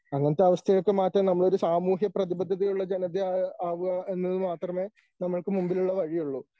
അങ്ങനത്തെ അവസ്ഥയൊക്കെ മാറ്റാൻ നമ്മളൊരു സാമൂഹ്യപ്രതിബദ്ധതയുള്ള ജനതയെ ആവുക എന്നത് മാത്രമേ നമ്മൾക്ക് മുമ്പിലുള്ള വഴിയൊള്ളു.